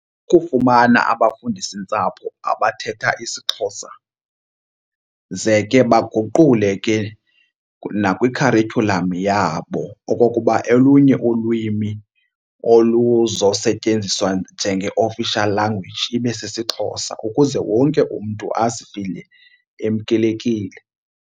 Kufumana abafundisintsapho abathetha isiXhosa ze ke baguqule ke nakwikharityhulam yabo okokuba olunye ulwimi oluzosetyenziswa njenge-official language ibe sisiXhosa ukuze wonke umntu azifile emkelekile.